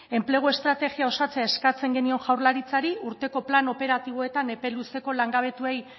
enplegu estrategia osatzea eskatzen genion jaurlaritzari urteko plan operatiboetan epe luzeko langabetuei